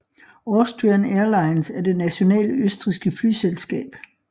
Austrian Airlines er det nationale østrigske flyselskab